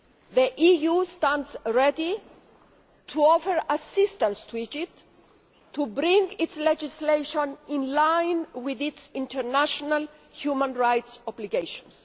The EU stands ready to offer assistance to Egypt to bring its legislation in line with its international human rights obligations.